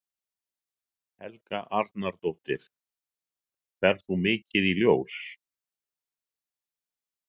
Helga Arnardóttir: Ferð þú mikið í ljós?